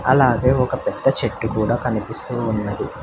అలాగే ఒక పెద్ద చెట్టు కూడా కనిపిస్తూంది.